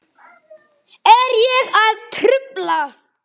Er ég að trufla?